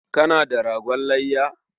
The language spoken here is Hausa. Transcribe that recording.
Kana da ragon layya?